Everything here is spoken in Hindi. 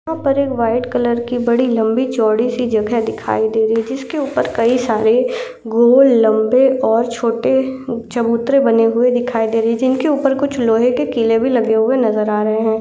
यहाँ पर एक व्हाइट कलर की बड़ी लंबी -चौड़ी- सी जगह दिखाई दे रही है। जिसके ऊपर कई सारे गोल लंबे ओर छोटे चबुतरे बने हुए दिखाई दे रहे जिनके ऊपर कुछ लोहे के किले भी लगे हुए नजर आ रहे हैं।